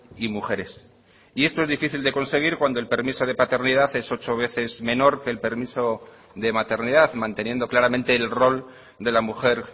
y mujeres y esto es difícil de conseguir cuando el permiso de paternidad es ocho veces menor que el permiso de maternidad manteniendo claramente el rol de la mujer